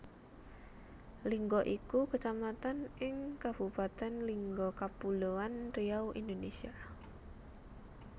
Lingga iku Kecamatan ing Kabupatèn Lingga Kapuloan Riau Indonesia